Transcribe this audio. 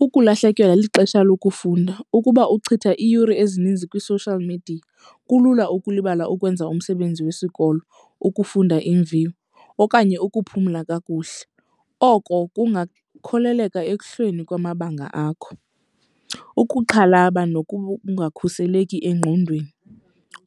Ukulahlekelwa lixesha lokufunda. Ukuba uchitha iiyure ezininzi kwi-social media kulula ukulibala ukwenza umsebenzi wesikolo, ukufunda iimviwo okanye ukuphumla kakuhle. Oko kungakholeleka ekuhleni kwamabanga akho. Ukuxhalaba nokungakhuseleki engqondweni.